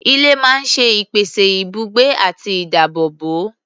Ilé máa ń ṣe ìpèsè ibùgbé àti ìdáàbòbò.